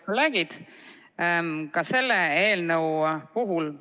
Lugupeetud kolleegid!